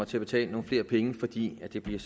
til at betale nogle flere penge fordi det bliver